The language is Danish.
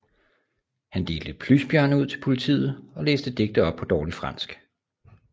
Han delte plysbjørne ud til politiet og læste digte op på dårligt fransk